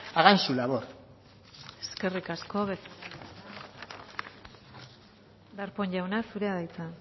hagan su labor eskerrik asko darpón jauna zurea da hitza